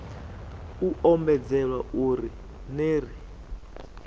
u ombedzelwa uri ner i